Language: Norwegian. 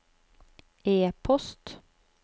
e-post